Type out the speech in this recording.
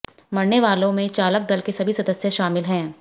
मरने वालों में चालक दल के सभी सदस्य शामिल हैं